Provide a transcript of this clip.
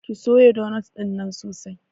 Ki soya donot ɗinnan sosai!